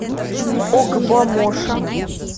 огбомошо